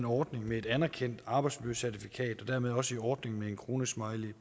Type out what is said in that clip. ordningen med et anerkendt arbejdsmiljøcertifikat og dermed også i ordningen med en kronesmiley